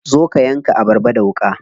Zo ka yanka abarba da wuƙa.